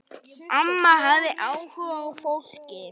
Amma hafði áhuga á fólki.